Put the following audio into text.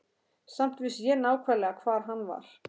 Samt vissi ég nákvæmlega hvar hann var.